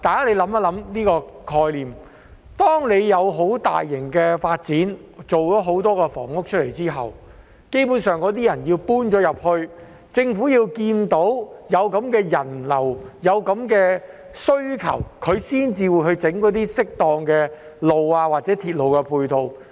大家想想這個概念，當政府有大型發展，建造了很多房屋後，基本上政府要待有人遷入後，看到有人流及需求，才會建造適當的道路或鐵路配套。